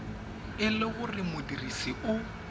e le gore modirisi o